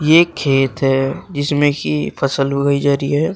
ये एक खेत है जिसमें कि फसल उगाई जा रही है।